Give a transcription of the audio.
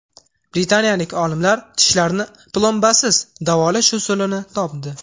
Britaniyalik olimlar tishlarni plombasiz davolash usulini topdi.